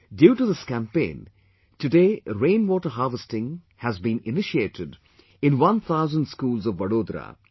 Due to this campaign, today rain water harvesting has been initiated in one thousand schools of Vadodara